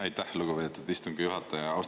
Aitäh, lugupeetud istungi juhataja!